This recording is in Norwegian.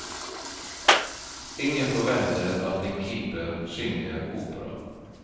Ingen forventer at en keeper synger opera.